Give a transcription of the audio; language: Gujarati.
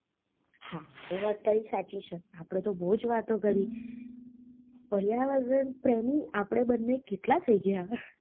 હા એ વાત તારી સાચી છે આપને તો બોવજ વાતો કરી વાતાવરણ પ્રેમી આપને બન્ને કેટલા થઇ ગ્યા